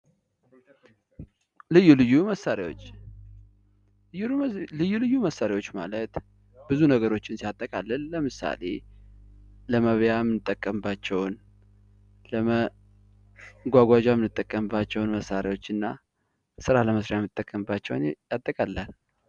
ልዩ ልዩ መሣሪያዎች ልዩ ልዩ መሳሪያዎች ማለት ብዙ ነገሮችን ሲያጠቃልል ለምሳሌ ለመብያ የምንጠቀምባቸውን ለመጓጓዣ የምንጠቀምባቸውን መሳሪያዎች እና ስራ ለመስራት የምንጠቀምባቸውን ያጠቃልላል ::